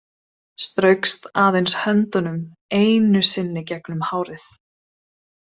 Straukst aðeins höndunum einu sinni gegnum hárið.